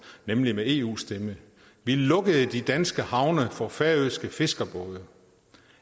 nemlig med eus stemme vi lukkede de danske havne for færøske fiskerbåde